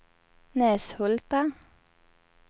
Näshulta